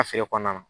A feere kɔnɔna na